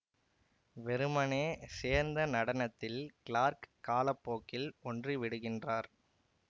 வெறுமனே சேர்ந்த நடனத்தில் கிளார்க் காலப்போக்கில் ஒன்றி விடுகின்றார்